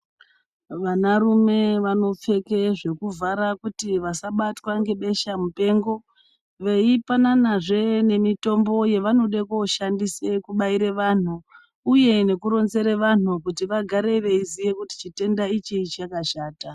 Vanarume vanopfeke zvekuvhara kuti vasabatwa ngebeshamupengo, veipananazve mitombo yekuti kubaire vanthu, uye veironzere vanthu kuti vagare veiziya kuti chitenda ichi chakashata.